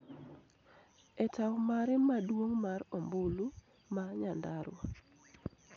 e tao mare maduong' mar ombulu ma Nyandarua.